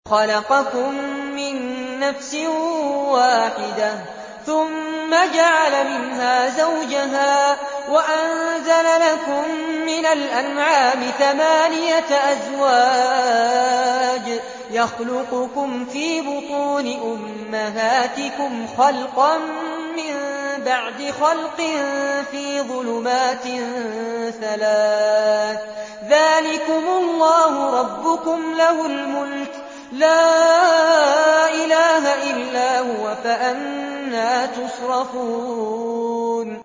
خَلَقَكُم مِّن نَّفْسٍ وَاحِدَةٍ ثُمَّ جَعَلَ مِنْهَا زَوْجَهَا وَأَنزَلَ لَكُم مِّنَ الْأَنْعَامِ ثَمَانِيَةَ أَزْوَاجٍ ۚ يَخْلُقُكُمْ فِي بُطُونِ أُمَّهَاتِكُمْ خَلْقًا مِّن بَعْدِ خَلْقٍ فِي ظُلُمَاتٍ ثَلَاثٍ ۚ ذَٰلِكُمُ اللَّهُ رَبُّكُمْ لَهُ الْمُلْكُ ۖ لَا إِلَٰهَ إِلَّا هُوَ ۖ فَأَنَّىٰ تُصْرَفُونَ